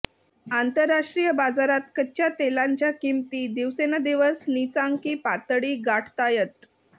आंतरराष्ट्रीय बाजारात कच्च्या तेलांच्या किंमती दिवसेंदिवस नीचांकी पातळी गाठतायत